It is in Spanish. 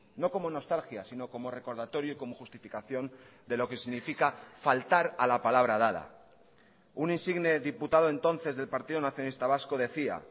no como nostalgia sino como recordatorio y como justificación de lo que significa faltar a la palabra dada un insigne diputado entonces del partido nacionalista vasco decía